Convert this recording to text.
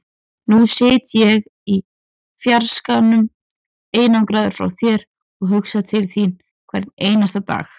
Nú sit ég í fjarskanum, einangraður frá þér, og hugsa til þín hvern einasta dag.